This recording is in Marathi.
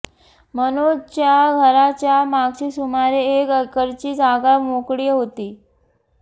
मनोजच्या घराच्या मागची सुमारे एक एकरची जागा मोकळी होती